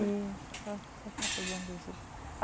E será será que ela foi Bom Jesus?